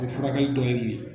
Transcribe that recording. furakɛli tɔ ye mun ye?